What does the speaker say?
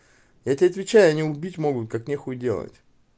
я тебе отвечаю они убить могут как нехуй делать